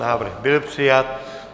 Návrh byl přijat.